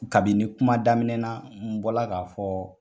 Kabini kuma daminɛna , n bɔla k'a fɔ